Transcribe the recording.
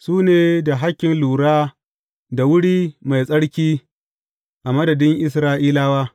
Su ne da hakkin lura da wuri mai tsarki a madadin Isra’ilawa.